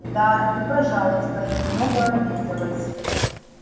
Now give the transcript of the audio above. да и пожалуйста я немного обиделась